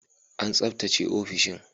An tsaftace ofishin